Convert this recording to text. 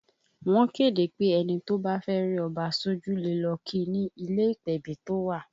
Wọ́n kéde pé ẹni tó bá fẹ́ rí Ọba sójú le lọ kí i ni ilé ìpèbí tó wà